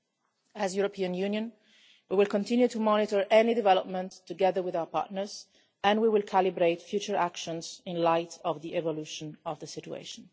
As the European Union, we will continue to monitor any development, together with our partners, and we will calibrate future actions in the light of the development of the situation.